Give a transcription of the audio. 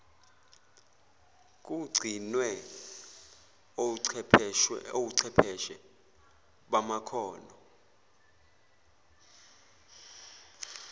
kugcinwe ochwepheshe bamakhono